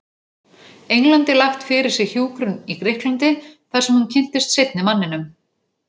Englandi lagt fyrir sig hjúkrun í Grikklandi, þarsem hún kynntist seinni manninum.